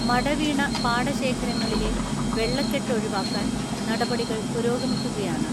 മടവീണ പാടശേഖര ങ്ങളിലെ വെള്ളക്കെട്ട് ഒഴിവാക്കാൻ നടപടികൾ പുരോഗമിക്കു കയാണ്.